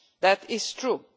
That is true.